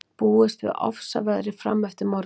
Búist við ofsaveðri fram eftir morgni